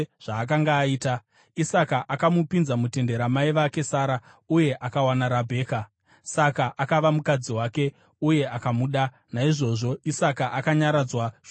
Isaka akamupinza mutende ramai vake Sara, uye akawana Rabheka. Saka akava mukadzi wake, uye akamuda; naizvozvo Isaka akanyaradzwa shure kwokufa kwamai vake.